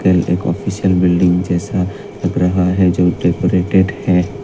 एक official building जैसा लग रहा है जो डेकोरेटेड है।